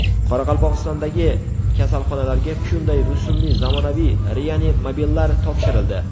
Qoraqalpog‘istondagi kasalxonalarga Hyundai rusumli zamonaviy reanimobillar topshirildi.